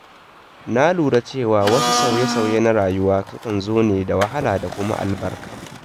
Na lura cewa wasu sauye-sauye na rayuwa sukan zo da wahala da kuma albarka.